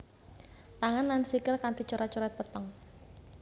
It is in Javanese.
Tangan lan sikil kanti coret coret peteng